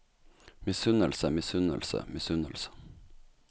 misunnelse misunnelse misunnelse